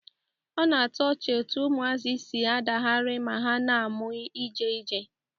Ọ na-atọ ọchị etu ụmụazị si adagharị ma ha na-amụ ịje ije